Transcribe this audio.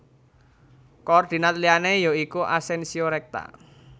Koordinat liyané ya iku Asensio rekta